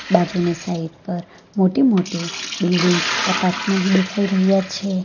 બાજુની સાઇડ પર મોટી મોટી બિલ્ડિંગ એપાર્ટમેન્ટ દેખાય રહ્યા છે.